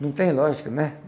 Não tem lógica, né?